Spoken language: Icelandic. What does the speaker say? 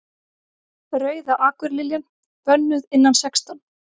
Rauða akurliljan. bönnuð innan sextán